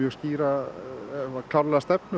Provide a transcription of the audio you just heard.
skýra og klára stefnu